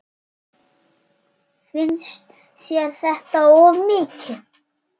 Finnst þér þetta of mikið?